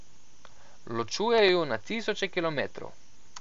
Ločuje ju na tisoče kilometrov.